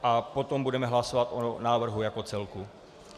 A potom budeme hlasovat o návrhu jako celku.